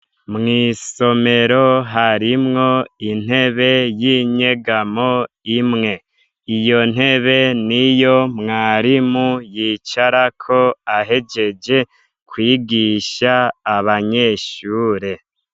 Mw'isomero harimwo intebe y'inyegamo imwe. Iyo ntebe niyo mwarimu yicarako ahejeje kwigisha abanyeshure.